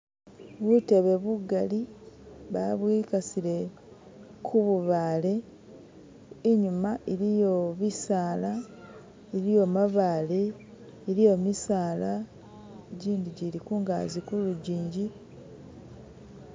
Butebe bugali, babwikasile kububale inyuma iliyo bisala, iliyo mabale, iliyo misala jindi jili kungazi ku lujinji